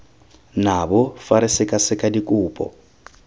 nabo fa re sekaseka dikopo